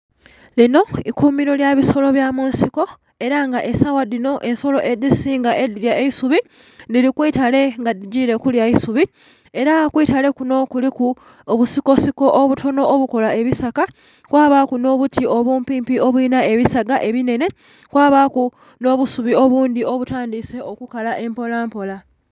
Linho ikumilo lyabisolo bya munsiko era nga esawa dhinho ensolo edhi singa edhilya eisubi dhili kwiitale nga dhigile kulya kwiisubi era kwiitale kunho kuliku obusiko siko obutonho obukolo ebisaka kwabaku obuti obuumpi mpi obulinha ebisaga ebinhenhe kwabaku nho busubi obundhi obutandhise okukala empola mpola.